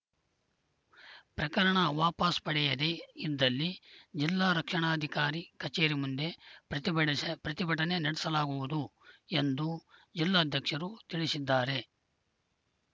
ಪ್ರಕರಣ ವಾಪಾಸ್‌ ಪಡೆಯದೇ ಇದ್ದಲ್ಲಿ ಜಿಲ್ಲಾ ರಕ್ಷಣಾಧಿಕಾರಿ ಕಚೇರಿ ಮುಂದೆ ಪ್ರತಿಭಟಸ ಪ್ರತಿಭಟನೆ ನಡೆಸಲಾಗುವುದು ಎಂದು ಜಿಲ್ಲಾಧ್ಯಕ್ಷರು ತಿಳಿಸಿದ್ದಾರೆ